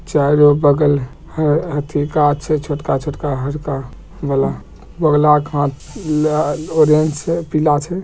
चारो बगल ह अथी गाछ छै छोटका-छोटका हरका वला बोगला क हाथ लअ -ल ओरेंज छे पीला छे।